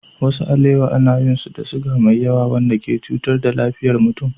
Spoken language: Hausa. Wasu alewa ana yin su da siga mai yawa wanda ke cutar da lafiyar mutum.